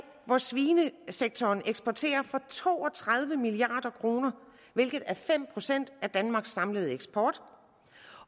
hvor svinesektoren eksporterer for to og tredive milliard kr hvilket er fem procent af danmarks samlede eksport